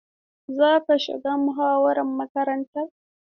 Za ku shiga muhawarar makarantar?